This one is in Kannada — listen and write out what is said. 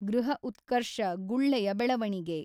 ಗೃಹಉತ್ಕರ್ಷ ಗುಳ್ಳೆಯ ಬೆಳವಣಿಗೆ.